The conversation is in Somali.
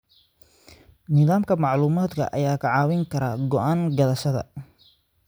Nidaamka macluumaadka ayaa kaa caawin kara go'aan qaadashada.